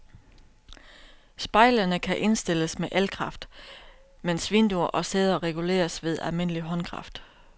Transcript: Spejlene kan indstilles med elkraft, mens vinduer og sæder reguleres ved almindelig håndkraft.